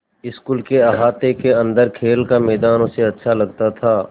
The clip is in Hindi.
स्कूल के अहाते के अन्दर खेल का मैदान उसे अच्छा लगता था